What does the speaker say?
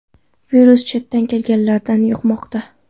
Virus chetdan kelganlardan yuqmoqda.